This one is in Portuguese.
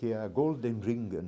Que é a Golden Ringen.